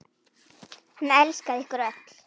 Hann elskaði ykkur öll.